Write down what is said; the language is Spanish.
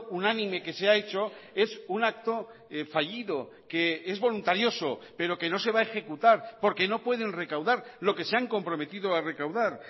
unánime que se ha hecho es un acto fallido que es voluntarioso pero que no se va a ejecutar porque no pueden recaudar lo que se han comprometido a recaudar